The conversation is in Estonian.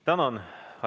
Tänan!